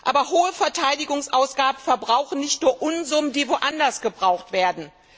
Aber hohe Verteidigungsausgaben verbrauchen nicht nur Unsummen, die woanders gebraucht werden.